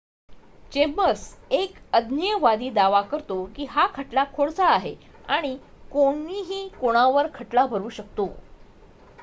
"Chambers एक अज्ञेयवादी दावा करतो की हा खटला "खोडसाळ" आहे आणि "कोणीही कोणावर खटला भरु शकतो.""